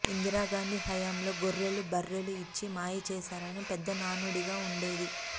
ఇందిరాగాంధీ హయాంలో గొర్రెలు బర్రెలు ఇచ్చి మాయచేశారని పెద్ద నానుడిగా వుండేది